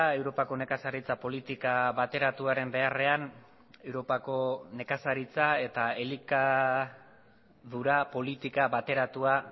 europako nekazaritza politika bateratuaren beharrean europako nekazaritza eta elikadura politika bateratua